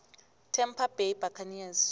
tampa bay buccaneers